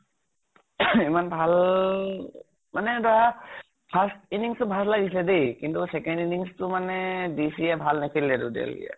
ইমান ভাল মানে ধৰা first innings তো ভাল লাগিছে দে, কিন্তু second innings তো মানে DC য়ে ভাল নেখেলিলেতো delhi য়ে।